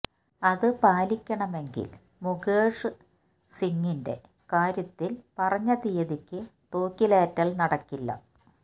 അത് പാലിക്കണമെങ്കിൽ മുകേഷ് സിംഗിന്റെ കാര്യത്തിൽ പറഞ്ഞ തീയതിക്ക് തൂക്കിലേറ്റൽ നടക്കില്ല